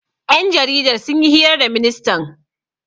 Ƴan jaridar sun yi hira da ministan.